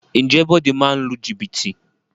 Ǹjẹ́ Bode máa ń lu jìbìtì?